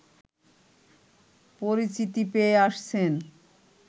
পরিচিতি পেয়ে আসছেন